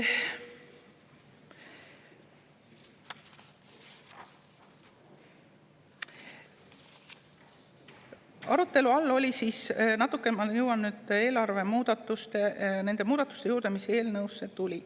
Nüüd ma jõuan eelarve nende muudatuste juurde, mis eelnõusse tulid.